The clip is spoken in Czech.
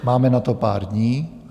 Máme na to pár dní.